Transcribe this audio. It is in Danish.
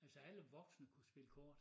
Altså alle voksne spillede kort